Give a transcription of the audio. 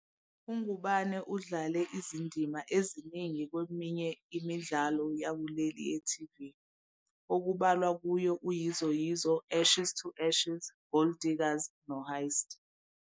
UNgubane udlale izindima eziningi kweminye imidlalo yakuleli ye-TV, okubalwa kuyo "uYizo Yizo", "Ashes to Ashes", "Gold Diggers", "noHeist".